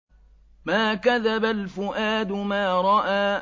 مَا كَذَبَ الْفُؤَادُ مَا رَأَىٰ